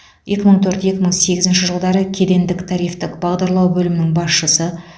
екі мың төрт екі мың сегізінші жылдары кедендік тарифтік бағдарлау бөлімінің басшысы